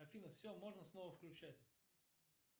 афина все можно снова включать